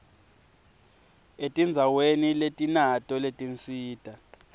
etindzaweni letinato letinsita